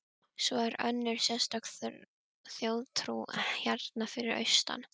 Svo er önnur sérstök þjóðtrú hérna fyrir austan.